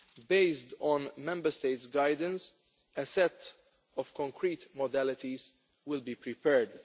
Based on Member States' guidance, a set of concrete modalities will be prepared.